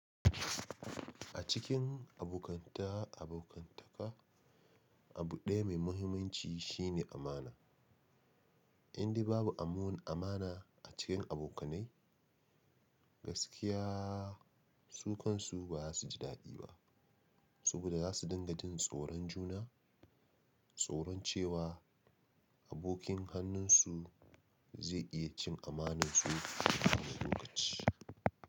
A cikin abokanta abokantaka, abu ɗaya mai mahimmanci shine amana. Indai babu amon amana a cikin abokanai, gaskiya sukan su ba su ji daɗi ba. Saboda za su dinga jin tsoron juna, tsoron cewa. Abokin hannunsu zai iya cin amanansu a wani lokaci.